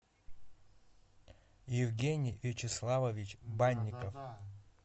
евгений вячеславович банников